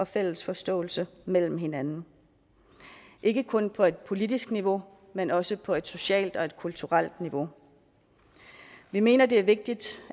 fælles forståelse mellem hinanden ikke kun på et politisk niveau men også på et socialt og et kulturelt niveau vi mener det er vigtigt